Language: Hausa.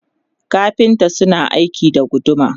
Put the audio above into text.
kafinta suna aiki da guduma